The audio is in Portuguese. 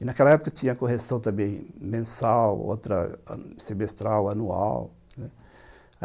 E naquela época tinha correção também mensal, outra semestral, anual, né.